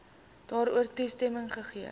daarvoor toestemming gegee